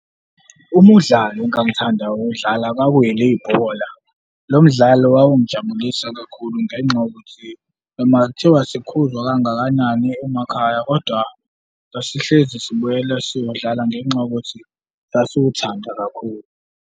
Umdlalo engangithanda ukuwudlala kwakulibhola. Lo mdlalo wawungijabulisa kakhulu ngenxa yokuthi noma kuthiwa sikhuzwa kangakanani emakhaya kodwa sasihlezi sibuyela siyodlala ngenxa yokuthi sasuthanda kakhulu.